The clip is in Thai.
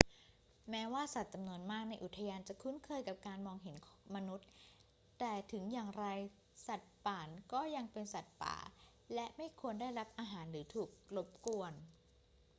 แม้ว่าสัตว์จำนวนมากในอุทยานจะคุ้นเคยกับการมองเห็นมนุษย์ แต่ถึงอย่างไรสัตว์ป่านก็ยังเป็นสัตว์ป่า และไม่ควรได้รับอาหารหรือถูกรบกวน